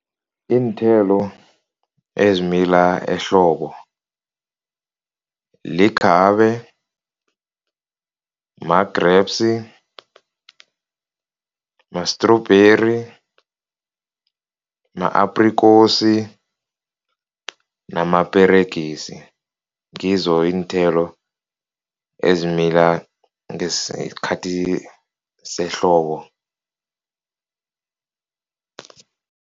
Iinthelo ezimila ehlobo likhabe, ma-grapes, ma-strawberry, ma-aprikosi namaperegisi, ngizo iinthelo ezimila ngesikhathi sehlobo.